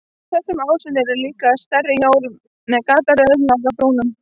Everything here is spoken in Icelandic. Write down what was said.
Á þessum ásum eru líka stærri hjól með gataröð nálægt brúnum.